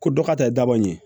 Ko dɔ ka ta ye daba ye